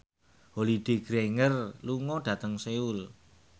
Holliday Grainger lunga dhateng Seoul